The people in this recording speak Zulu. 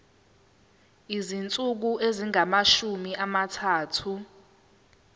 izinsuku ezingamashumi amathathu